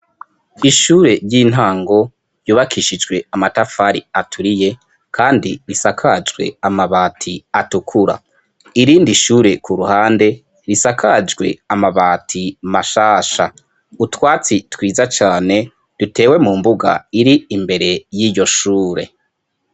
ishure ryintango ryubakishijwe amatafari aturiye kandi risakajwe amabati atukura irindi ishure ku ruhande risakajwe amabati mashasha utwatsi twiza cane dutewe mu mbuga iri imbere y'iyo shure